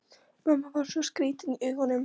Mamma var svo skrýtin í augunum.